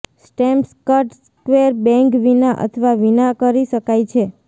સ્ટેમ્પસ્ક્ડ square bang વિના અથવા વિના કરી શકાય છે